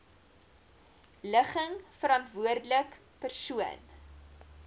ligging verantwoordelike persoon